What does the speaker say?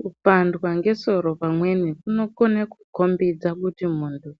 Kupandwa ngesoro pamweni kunokone kukombidza kuti munthu